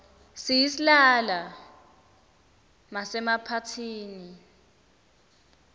siyislala masemaphathini